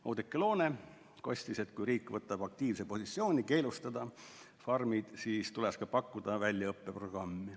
Oudekki Loone leidis, et kui riik võtab aktiivse positsiooni farmide keelustamisel, siis tuleks pakkuda ka väljaõppeprogrammi.